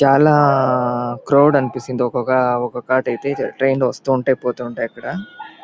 చాలా క్రౌడ్ అనిపిస్తాది ఒక్కొక ఒకొకటి అయితే ట్రైన్ వస్తుంటాయ్ పోతుంటాయి అక్కడ.